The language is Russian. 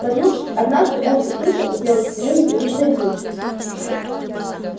проснувшись однажды он услышал у белой стены непривычные звуки